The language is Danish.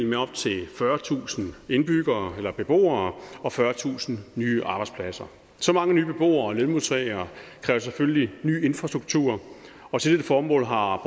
med op til fyrretusind beboere og fyrretusind nye arbejdspladser så mange nye beboere og lønmodtagere kræver selvfølgelig ny infrastruktur og til dette formål har